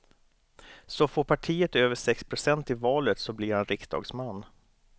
Så får partiet över sex procent i valet så blir han riksdagsman.